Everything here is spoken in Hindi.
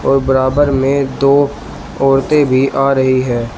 और बराबर में दो औरतें भी आ रही हैं।